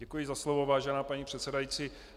Děkuji za slovo, vážená paní předsedající.